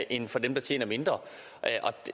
end for dem der tjener mindre